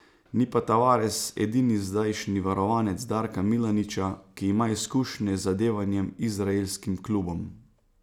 Ni pa Tavares edini zdajšnji varovanec Darka Milaniča, ki ima izkušnje z zadevanjem izraelskim klubom.